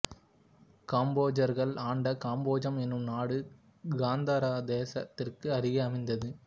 காம்போஜர்கள் ஆண்ட காம்போஜம் எனும் நாடு காந்தாரதேசத்திற்கு அருகே அமைந்தது